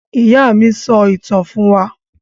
Ìyá mi sọ ìtàn fún wa.